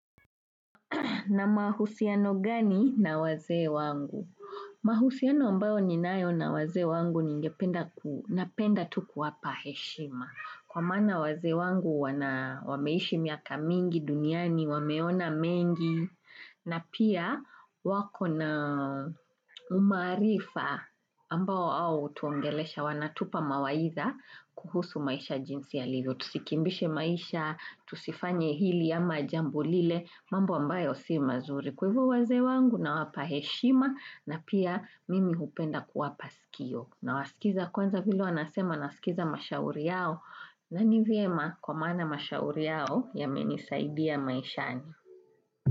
Na mahusiano gani na wazee wangu? Mahusiano ambayo ninayo na wazee wangu ningependa napenda tu kuwapa heshima. Kwa msana wazee wangu wameishi miaka mingi duniani, wameona mengi na pia wako na umaarifa ambao hao hutuongelesha wanatupa mawaidha kuhusu maisha jinsi yalivyo. Tusikimbishe maisha, tusifanye hili ama jambo lile, mambo ambayo si mazuri. Kwa hivyo wazee wangu nawapa heshima na pia mimi hupenda kuwapa sikio. Nawasikiza kwanza vile wanasema nasikiza mashauri yao. Nani vyema kwa maana mashauri yao yamenisaidia maishani?